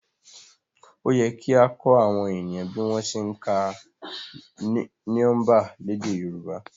Òyẹ kia kọ awọn eniyan bi wọn se ǹka niọmba lèdè yorùbá